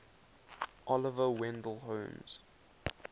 oliver wendell holmes